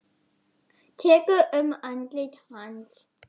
Tekur um andlit hans.